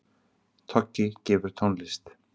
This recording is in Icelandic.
Toggi gefur tónlist